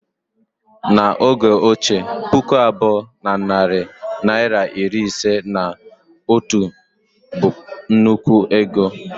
N' oge ochie, puku abụọ na narị naịra iri ise na otu bu nnukwu ego